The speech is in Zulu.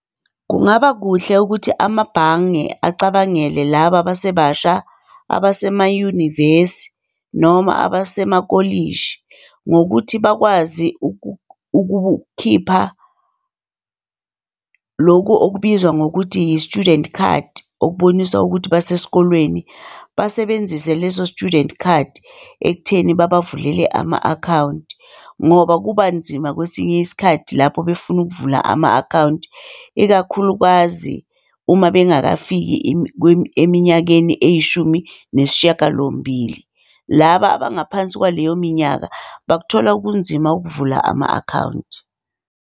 Kungaba kuhle ukuthi amabhange acabangele laba abasebasha abasemayunivesi noma abasemakolishi ngokuthi bakwazi ukukhipha loku okubizwa ngokuthi yi-student card okubonisa ukuthi basesikolweni. Basebenzise leso student card ekutheni babavulele ama-akhawunti ngoba kuba nzima kwesinye isikhathi lapho befuna ukuvula ama-akhawunti ikakhulukazi uma bengakafiki eminyakeni eyishumi nesishiyagalombili. Laba abangaphansi kwaleyo minyaka bakuthola, kunzima ukuvula ama-akhawunti.